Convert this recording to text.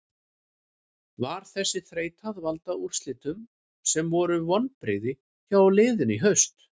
Var þessi þreyta að valda úrslitum sem voru vonbrigði hjá liðinu í haust?